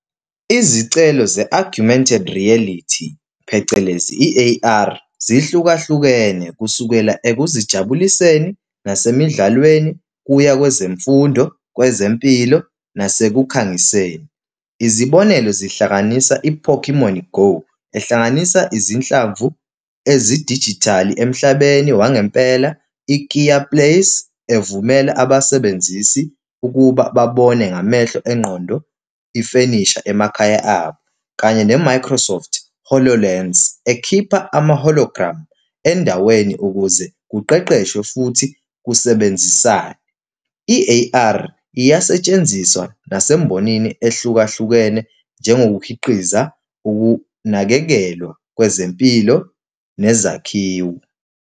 Izicelo ze-augmented reality, phecelezi, i-A_R, zihlukahlukene kusukela ekuzijabuliseni nasemidlalweni, kuya kwezemfundo, kwezempilo, nasekukhangiseni. Izibonelo zihlanganisa i-Pokemon GO, ehlanganisa izinhlamvu ezidijithali emhlabeni wangempela i-Kea Place, evumela abasebenzisi ukuba babone ngamehlo engqondo, ifenisha emakhaya abo, kanye ne-Microsoft Hololands, ekhipha ama-hologram endaweni ukuze kuqeqeshwe futhi kusebenzisane. I-A_R iyasetshenziswa nasembonini ehlukahlukene njengokukhiqiza ukunakekelwa kwezempilo nezakhiwo.